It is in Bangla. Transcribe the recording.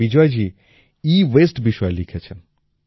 এতে বিজয়জী এওয়াসতে বিষয়ে লিখেছেন